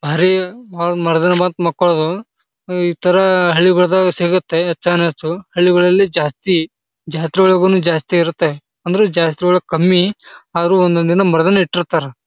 ಭಾರಿ ಹೊಳ್ ಮರದಲ್ಲಿ ಮತ್ ಮೊಕ್ಕೋಳುದು. ಈ ತರಾ ಹಳ್ಳಿಗೋಳಾದಾಗ ಸಿಗುತ್ತೆ ಹೆಚ್ಚಾನ್ಹೆಚ್ಚು. ಹಳ್ಳಿಗಳ್ಲಲಿ ಜಾಸ್ತಿ ಜಾತ್ರೆವಲಗುನು ಜಾಸ್ತಿ ಇರುತ್ತೆ. ಅಂದ್ರು ಜಾಸ್ತಿ ಒಳಗ ಕಮ್ಮಿ ಆದ್ರ ಒಂದೊಂದ್ ದಿನ ಮರ್ದನ ಇಟ್ಟಿರ್ತಾರ.